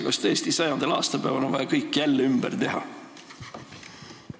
Kas tõesti on 100. aastapäeval vaja kõik jälle ümber teha?